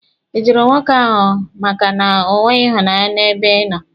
Ị jụrụ nwoke ahụ makana o nweghị ịhụnanya n'ebe ịnọ?